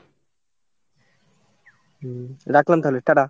হম রাখলাম তাহলে, টাটা।